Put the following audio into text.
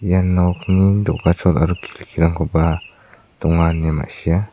iano nokni do·gachol aro donga ine ma·sia.